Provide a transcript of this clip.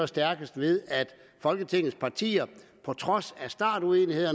stærkest ved at folketingets partier på trods af uenighed